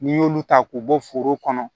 N'i y'olu ta k'u bɔ foro kɔnɔ